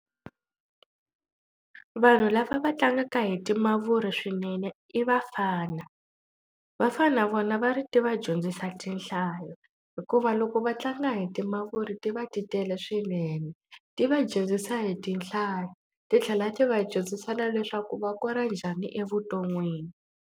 Vanhu lava va tlangaka hi timavuri swinene i vafana vafana na vona va ri ti va dyondzisa tinhlayo hikuva va loko va tlanga hi timavuri ti va ti tele swinene ti va dyondzisa hi tindlala titlhela ti va dyondzisa na leswaku va kora njhani evuton'wini.